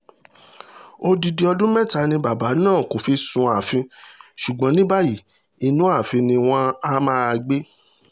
odidi ọdún mẹ́ta ni bàbá náà kò fi sún ààfin ṣùgbọ́n ní báyìí inú ààfin ni wọ́n áà máa gbé